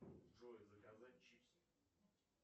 джой заказать чипсы